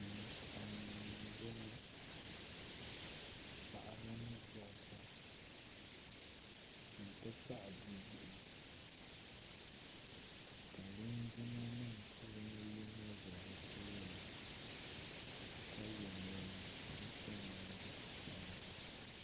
Ninsali nima n bɔŋɔ paɣaba ni dabiban ti pahi bibihi ka linjima nima puuni yino za bi tooni ka ye nɛma ka di kom nyɛ zaɣi sabila '